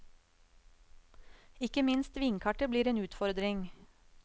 Ikke minst vinkartet blir en utfordring.